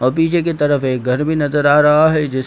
और पिछे के तरफ एक घर भी नजर आ रहा है जिस --